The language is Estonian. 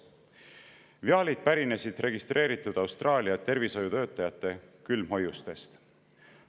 Viaalid pärinesid registreeritud Austraalia tervishoiutöötajate külmhoiustest.